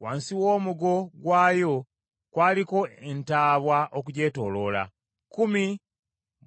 Wansi w’omugo gwayo kwaliko entaabwa okugyetooloola, kkumi